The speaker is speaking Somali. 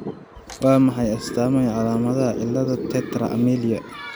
Waa maxay astamaha iyo calaamadaha cilada Tetra amelia ?